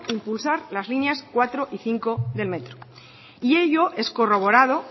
impulsar las líneas cuatro y cinco del metro y ello es corroborado